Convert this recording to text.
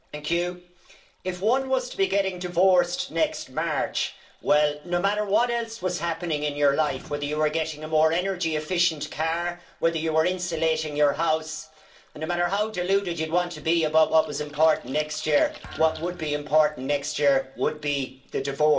Madam President, if one was to be getting divorced next March, no matter what else was happening in your life, whether you were getting a more energy efficient car, whether you were insulating your house and no matter how deluded you'd want to be about what was important next year, what would be important next year would be the divorce.